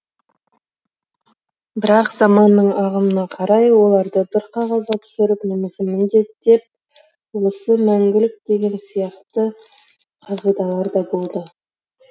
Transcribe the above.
бірақ заманның ағымына қарай оларды бір қағазға түсіріп немесе міндеттеп осы мәңгілік деген сияқты қағидалар да болды